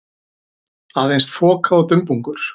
Aðeins þoka og dumbungur.